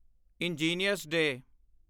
engineer's day